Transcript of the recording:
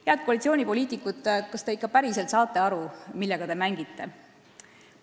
Head koalitsioonipoliitikud, kas te ikka päriselt saate aru, millega te mängite?